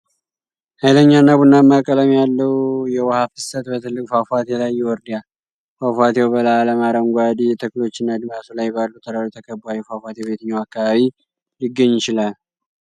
ኃይለኛና ቡናማ ቀለም ያለው የውሃ ፍሰት በትልቅ ፏፏቴ ላይ ይወርዳል። ፏፏቴው በለምለም አረንጓዴ ተክሎችና አድማስ ላይ ባሉ ተራሮች ተከብቧል። ይህ ፏፏቴ በየትኛው አካባቢ ሊገኝ ይችላል?